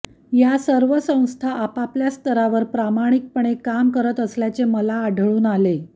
ह्या सर्व संस्था आपापल्या स्तरावर प्रामाणिकपणे काम करत असल्याचे मला आढळून आले